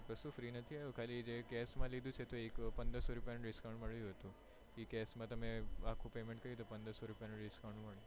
કશું free નહિ આવ્યું ખાલી જે case માં લીધું છે તો એક પંદરસો રૂપિયા નું discount મળ્યું હતું એ case માં તમે આખું payment તો પંદરસો રૂપિયા નું discount મળે